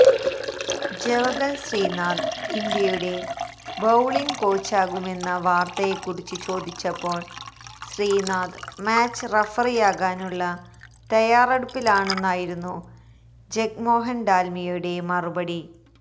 ജവഗല് ശ്രീനാഥ് ഇന്ത്യയുടെ ബൌളിംഗ് കോച്ചാകുമെന്ന വാര്ത്തയെക്കുറിച്ച് ചോദിച്ചപ്പോള് ശ്രീനാഥ് മാച്ച് റഫറിയാകാനുള്ള തയ്യാറെടുപ്പിലാണെന്നായിരുന്നു ജഗ്മോഹന് ഡാല്മിയയുടെ മറുപടി